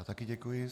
Já také děkuji.